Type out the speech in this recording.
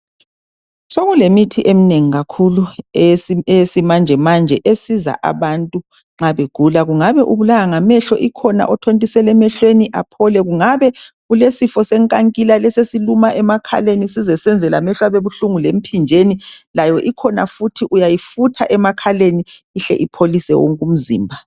Sokulemithi eminengi kakhulu eyesimanje manje esiza abantu nxa begula. Kungabe ubulawa ngamehlo ikhona othontiselwa emehlweni aphole. Kungabe ulesifo senkankila lesi esiluma emakhaleni size senze lamehlo abebuhlungu lemphinjeni layo ikhona futhi uyayifutha emakhaleni ihle ipholise wonke umzimba.